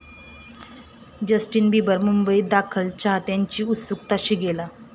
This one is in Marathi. जस्टिन बिबर मुंबईत दाखल, चाहत्यांची उत्सुकता शिगेला